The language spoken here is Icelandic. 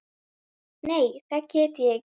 Nei, það get ég ekki.